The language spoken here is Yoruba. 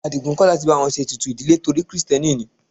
Adigun kò láti bá wọn ṣe ètùtù ìdílé torí krìstẹ́nì ni.